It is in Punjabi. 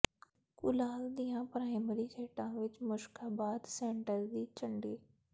ਘੁਲਾਲ ਦੀਆਂ ਪ੍ਰਾਇਮਰੀ ਖੇਡਾਂ ਵਿੱਚ ਮੁਸ਼ਕਾਬਾਦ ਸੈਂਟਰ ਦੀ ਝੰਡੀ